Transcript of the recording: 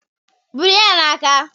Buru ya n'aka.